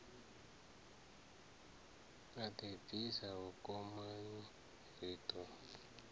a ḓibvisa vhukomani ri ḓo